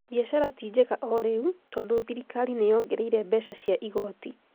Mbiacara ti njega o rĩu tondũthirikari nĩ yongereire mbeca cia igooti